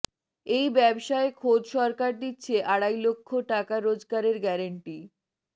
এই ব্যবসায়ে খোদ সরকার দিচ্ছে আড়াই লক্ষ টাকা রোজগারের গ্যারান্টি